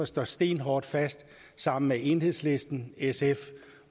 står stenhårdt fast sammen med enhedslisten sf